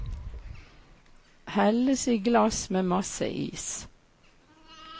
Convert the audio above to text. Helles i glass med masse is.